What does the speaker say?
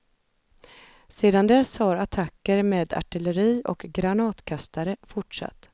Sedan dess har attacker med artilleri och granatkastare fortsatt.